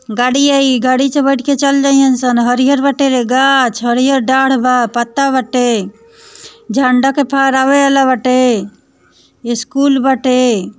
गाड़ी आई गाड़ी ते बैठ कर चली जाएगी सन हरियल बाटे गाछ हरियल डांग बा पत्ता बाटे झंडा को पेरावल बाटे स्कूल बाटे।